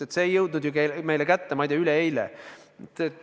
Aga see olukord pole meil tekkinud, ma ei tea, üleeile.